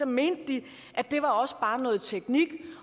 mente de at det også bare var noget teknik